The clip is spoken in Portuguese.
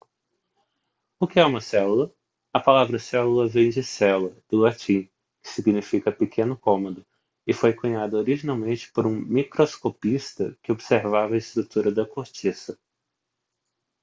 o que é uma célula a palavra célula vem de cella do latim que significa pequeno cômodo e foi cunhada originalmente por um microscopista que observava a estrutura da cortiça